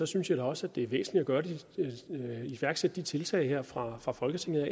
synes jeg også at det er væsentligt at iværksætte de tiltag her fra fra folketingets